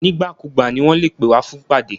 Nígbàkúùgbà ni wọn lè pè wá fún ìpàdé.